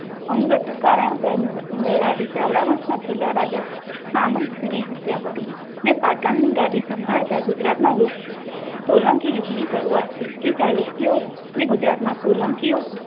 અંગત કારણોસર મૂળરાજ ના ચાવડા વંશના છેલ્લા રાજા સામંતસિંહની હત્યા કરી ને પાટણની ગાદી સંભાળતા ગુજરાતના સોલંકી યુગની શરૂઆત થઈ પછી ચાલુક્ય ગુજરાતમાં સોલંકીઓ